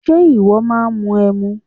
Ṣe ìwọ máà ń mu ẹmu?